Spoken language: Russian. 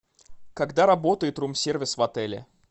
когда работает рум сервис в отеле